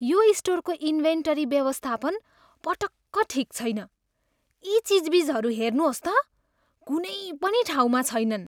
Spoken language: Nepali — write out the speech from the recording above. यो स्टोरको इन्भेन्टरी व्यवस्थापन पटक्क ठिक छैन। यी चिजबिजहरू हेर्नुहोस् त, कुनै पनि ठाउँमा छैनन्।